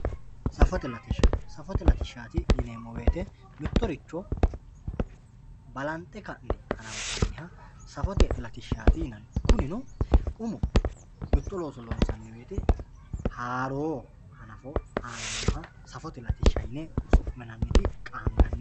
Safote latishsha, safote latishshati yineemmo woyte mittoricho balanxe ka'ne hananfanniha safote latishshati yinanni kunino umo mitto looso loonsanni woyte haaro hanafinoha safote latishsha yine su'minanniti qaangannite.